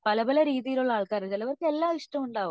പല പല രീതികളിൽ ഉള്ള ആൾക്കാര് ചിലവർക് എല്ലാം ഇഷ്ടമുണ്ടാവും